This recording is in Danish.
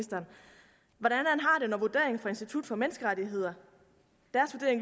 vurderingen fra institut for menneskerettigheder